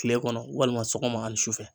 Kile kɔnɔ walima sɔgɔma ani sufɛ.